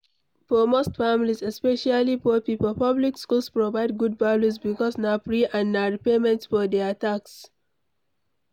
For most families, especially poor pipo, public schools provide good value because na free and na repayment for their tax